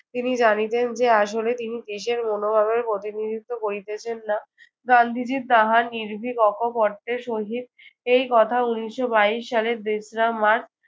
তিনি জানিতেন যে আসলে তিনি দেশের মনোভাবের প্রতিনিধিত্ব করিতেছেন না। গান্ধীজি তাহার নির্ভিক অকপটের সহিত এই কথা উনিশশো বয়স সালের তেশরা মার্চ